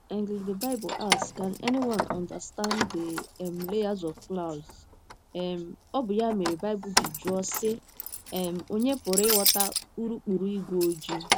cs] and, the Bible asks: Can anyone understand the um layers of clouds? um Ọ bụ ya mere Baịbụl ji jụọ, sị: um Ònye pụrụ ịghọta urukpuru ígwé ojii?